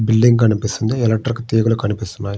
Building కనిపిస్తుంది electrical తీగల కనిపిస్తున్నాయి.